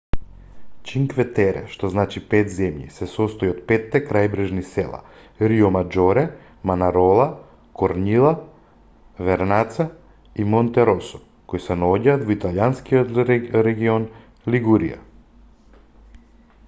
чинкве тере што значи пет земји се состои од петте крајбрежни села риомаџоре манарола корниља вернаца и монтеросо кои се наоѓаат во италијанскиот регион лигурија